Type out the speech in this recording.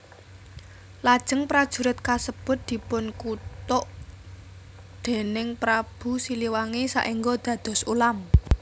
Lajeng prajurit kasebut dipunkutuk déning Prabu Siliwangi saéngga dados ulam